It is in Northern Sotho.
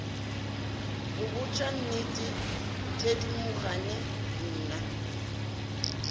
go botša nnete thedimogane nna